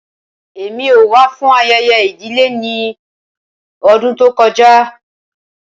Rara, Emi ko wa fun ayẹyẹ idile ni ọdun to kọja.